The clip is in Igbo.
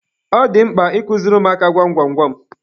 Ọ dị mkpa I kuziri ụmụaka gwam gwam gwam.